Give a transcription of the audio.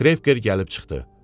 Krevker gəlib çıxdı.